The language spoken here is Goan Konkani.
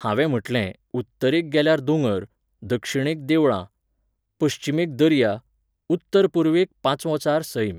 हांवें म्हटलें, उत्तरेक गेल्यार दोंगर, दक्षिणेक देवळां, पश्चिमेक दर्या, उत्तर पूर्वेक पांचवोचार सैम